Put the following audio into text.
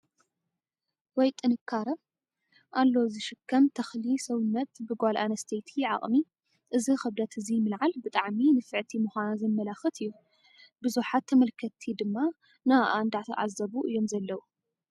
ወይ ጥንካረ! ኣሎ ዝሽከም ተኽሊ ሰውነት ብጓል ኣነስተይቲ ዓቅሚ እዚ ኽብደት እዚ ምልዓል ብጣዕሚ ንፍዕቲ ምዃና ዘመላኽት እዩ። ብዙሓት ተመልከትቲ ድማ ንኣኣ እዳተዓዘቡ እዮም ዘለው።